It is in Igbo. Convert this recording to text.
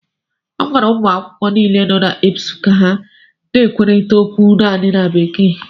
A gwara ụmụ akwụkwọ niile nọ na EBSU ka ha na-ekwurịta okwu naanị na Bekee